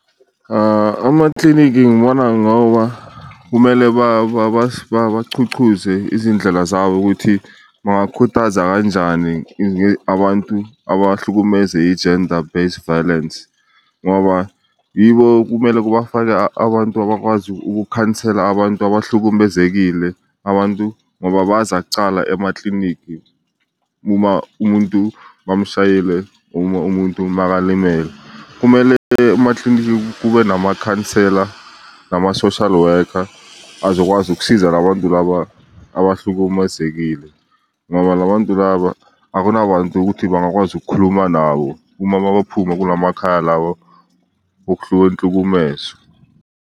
Amaklinikhi ngibona ngoba kumele babachuchuze izindlela zabo ukuthi bangakhuthaza kanjani abantu abahlukumeze i-gender base violence, ngoba yibo kumele kubafake abantu abakwazi ukukhansela abantu abahlukumezekile. Abantu ngoba baza kucala emaklinikhi uma umuntu bamshayile, uma umuntu makalimele kumele emaklinikhi kube namakhansela nama-social worker azokwazi ukusiza la bantu laba abahlukumezekile. Ngoba la bantu laba akunabantu ukuthi bangakwazi ukukhuluma nabo uma mabaphuma kula makhaya lawa okuhleli inhlukumezo.